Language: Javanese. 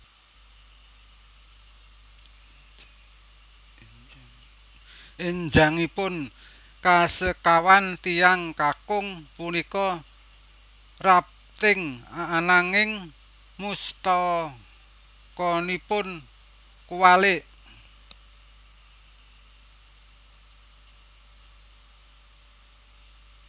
Enjangipun kasekawan tiyang kakung punika rafting ananging mustakanipun kuwalik